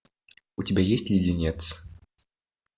у тебя есть леденец